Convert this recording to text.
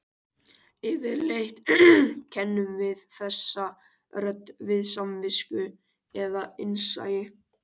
Yfirleitt kennum við þessa rödd við samvisku eða innsæi.